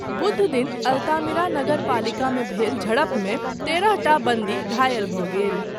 बुधदिन अल्तामिरा नगर पालिकामे भेल झड़पमे तेरहटा बन्दी घायल भऽ गेल।